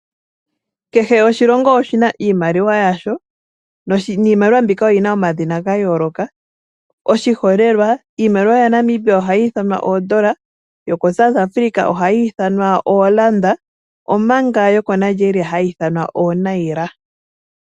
Kehe oshilongo oshi na iimaliwa yasho, yo oyi na omadhina ga yooloka. Oshiholelwa, iimaliwa yaNamibia oha yi ithanwa, oondola, yaSouth Africa oha yi ithanwa oranda omanga yokoNingeria hayi ithanwa ooNaira.